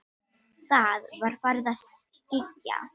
Það var farið að skyggja.